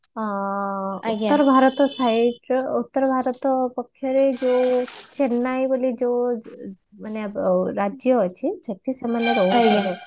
ଅ ଉତର ଭାରତର site ର ଉତର ଭାରତ ପକ୍ଷରେ ଯୋଉ sorry ନାଇଁ ବୋଲି ଯୋଉ ମାନେ ରାଜ୍ୟ ଅଛି ସେଠି ସେମାନେ ରହୁଥିଲେ